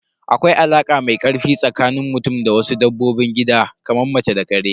Akwai alaka mai ƙarfi tsakanin mutum da wasu dabbobin gidan kamar mace da ƙare.